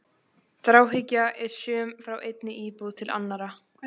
Þráhyggja er söm frá einni íbúð til annarrar.